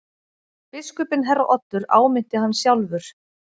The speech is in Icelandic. Biskupinn herra Oddur áminnti hann sjálfur.